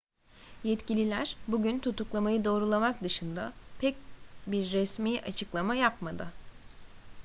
yetkililer bugünkü tutuklamayı doğrulamak dışında pek bir resmi açıklama yapmadı